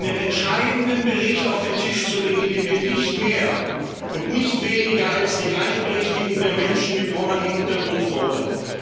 einen entscheidenden Bericht auf den Tisch zu legen, in dem wir nicht mehr und nicht weniger als die Gleichberechtigung der Menschen mit Romani Hintergrund fordern.